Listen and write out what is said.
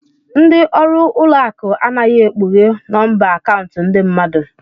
Ndị ọrụ ụlọ akụ anaghị ekpughe nọmba akaụntụ ndị mmadụ.